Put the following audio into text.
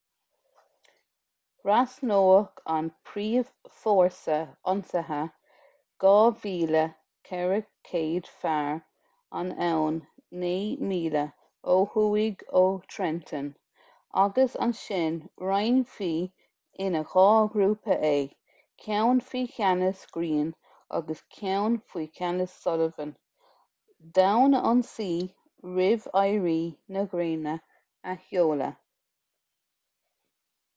thrasnódh an príomhfhórsa ionsaithe 2,400 fear an abhainn naoi míle ó thuaidh ó trenton agus ansin roinnfí ina dhá ghrúpa é ceann faoi cheannas greene agus ceann faoi cheannas sullivan d'fhonn ionsaí roimh éiri na gréine a sheoladh